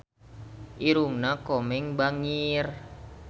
Irungna Komeng bangir